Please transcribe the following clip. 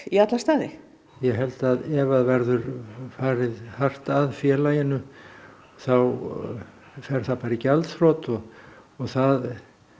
í alla staði ég held að ef það verður farið hart að félaginu þá fer það bara í gjaldþrot og það